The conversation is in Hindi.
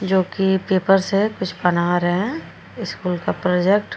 जो कि पेपर से कुछ बना रहे हैं स्कूल का प्रोजेक्ट --